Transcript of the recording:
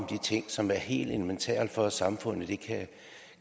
de ting som er helt elementære for at samfundet